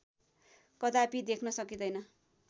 कदापि देख्न सकिँदैन